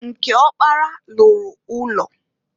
Nke ọkpara lụrụ ụlọ.